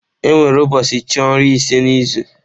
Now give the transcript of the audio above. Enwere ụbọọchi chị ọrụ ise n'izu.